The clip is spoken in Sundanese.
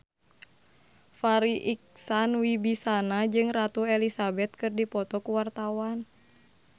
Farri Icksan Wibisana jeung Ratu Elizabeth keur dipoto ku wartawan